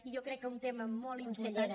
i jo crec que un tema molt important